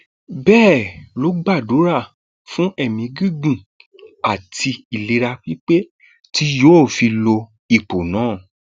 bẹẹ ló gbàdúrà fún ẹmí gígùn àti ìlera pípé tí yóò fi lo ipò náà